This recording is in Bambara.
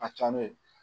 A ka ca ne